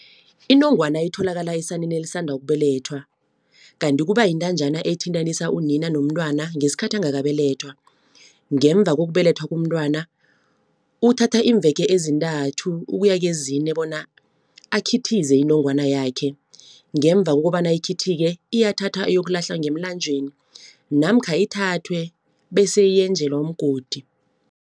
Inongwana itholakala esaneni elisanda ukubelethwa, kanti kuba yintanjana ethintanisa unina nomntwana ngesikhathi angakabelethwa. Ngemva kokubelethwa komntwana uthatha iimveke ezintathu, ukuya kezine bona akhithize inongwana yakhe. Ngemva kokobana ikhithike iyathathwa iyokulahlwa ngemlanjeni namkha ithathwe, bese yenjelwa umgodi.